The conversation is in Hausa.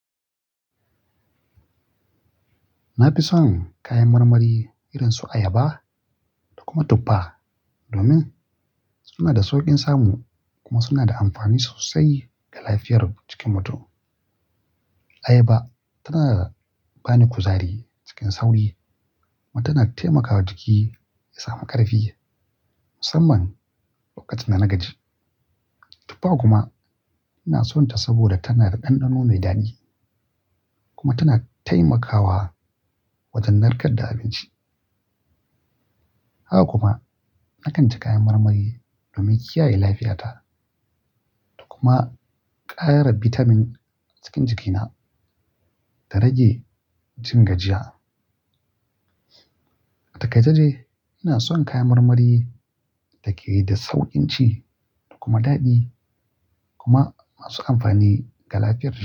Na fi son kayan marmari irin su ayaba da kuma tuffa, domin suna da sauƙin samu kuma suna da amfani sosai ga lafiyar jikin mutum. Ayaba tana ba ni kuzari cikin sauri kuma tana taimaka wa jiki ya samu ƙarfi, musamman lokacin da na gaji. Tuffa kuma ina son ta saboda tana da ɗanɗano mai daɗi kuma tana taimakawa wajen narkar da abinci. Haka kuma, na kanci kayan marmari domin kiyaye lafiyata da kuma ƙara bitamin cikin jikina da rage jin gajiya. A taikace ina son kayan marmari da ke da sauƙin ci da kuma daɗi kuma masu amfani ga lafiyar jiki.